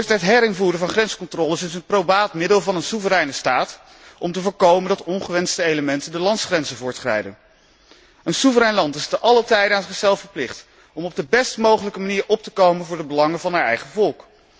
Het herinvoeren van grenscontroles is een probaat middel van een soevereine staat om te voorkomen dat ongewenste elementen de landsgrenzen overschrijden. Een soeverein land is te allen tijde aan zichzelf verplicht om op de best mogelijke manier op te komen voor de belangen van zijn eigen volk.